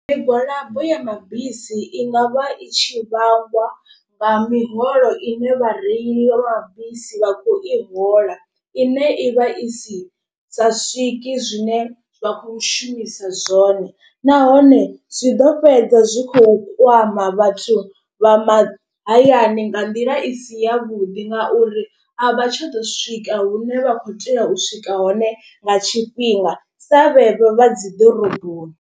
Migwalabo ya mabisi i ngavha i tshi vhangwa nga miholo ine vhareili vha mabisi vha khou i hola. Ine i vha i si sa swiki zwine zwa kho shumisa zwone nahone zwi ḓo fhedza zwi khou kwama vhathu vha ma hayani nga nḓila i si ya vhuḓi. Ngauri a vha tsha ḓo swika hune vha kho tea u swika hone nga tshifhinga sa vhevha vha dzi ḓoroboni.